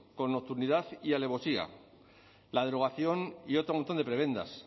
con nocturnidad y alevosía la derogación y otro montón de prebendas